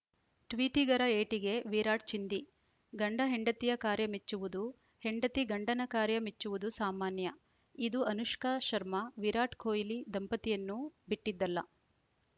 ಟ್ವೀಟಿಗರ ಏಟಿಗೆ ವಿರಾಟ್‌ ಚಿಂದಿ ಗಂಡ ಹೆಂಡತಿಯ ಕಾರ್ಯ ಮೆಚ್ಚುವುದು ಹೆಂಡತಿ ಗಂಡನ ಕಾರ್ಯ ಮೆಚ್ಚುವುದು ಸಾಮಾನ್ಯ ಇದು ಅನುಷ್ಕಾ ಶರ್ಮಾ ವಿರಾಟ್‌ ಕೊಯ್ಲಿ ದಂಪತಿಯನ್ನೂ ಬಿಟ್ಟಿದ್ದಲ್ಲ